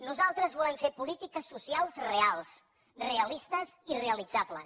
nosaltres volem fer polítiques socials reals realistes i realitzables